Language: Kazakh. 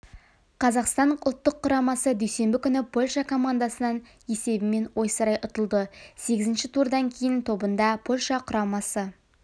қазақстан ұлттық құрамасы дүйсенбі күні польша комндасынан есебімен ойсырай ұтылды сегізінші турдан кейін тобында польша құрамасы